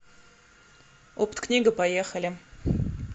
опткнига поехали